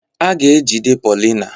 A ga-ejide Paulina.